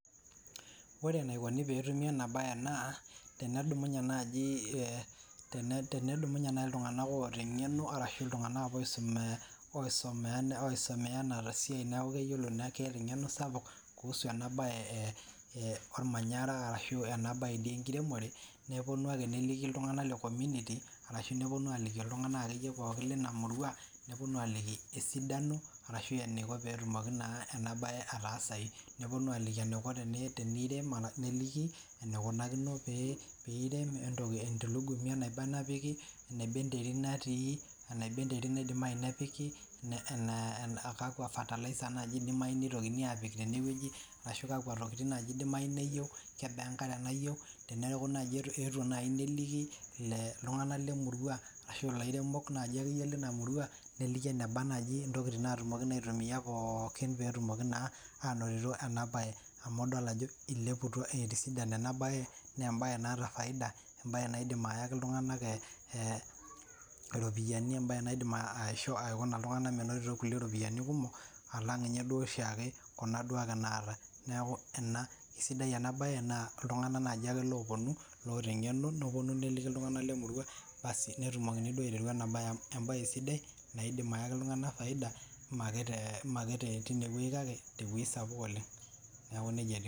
ore enaikoni tenetumi enabae naa pedumunye naji iltunganak oota engeno arashu oisomea enasiai niaku keeta engeno sapuk kuhusu enabae ormanyara ashu enabae enkiremore neponu ake neliki iltunganak lecommunity ashu neponu aliki iltungnak linamurua aliki esidano petumoki naa inabae ataasayu .